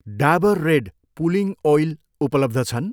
Dabur red pulling oil उपलब्ध छन्?